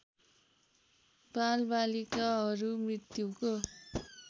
बालबालिकाहरू मृत्युको